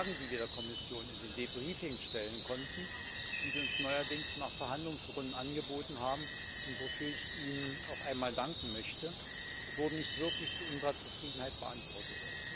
Denn die Fragen, die wir der Kommission in den Debriefings stellen konnten, die Sie uns neuerdings nach Verhandlungsrunden angeboten haben und wofür ich Ihnen auch einmal danken möchte, wurden nicht wirklich zu unserer Zufriedenheit beantwortet.